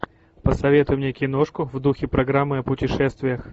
посоветуй мне киношку в духе программы о путешествиях